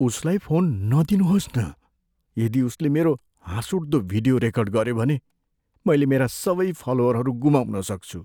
उसलाई फोन नदिनुहोस् न । यदि उसले मेरो हाँसउठ्दो भिडियो रेकर्ड गऱ्यो भने, मैले मेरा सबै फलोअरहरू गुमाउन सक्छु।